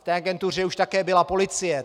V té agentuře už také byla policie.